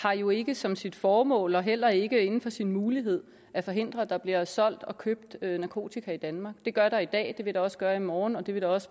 har jo ikke som sit formål og heller ikke inden for sin mulighed at forhindre at der bliver solgt og købt narkotika i danmark det gør der i dag og det vil der også gøre i morgen og det vil der også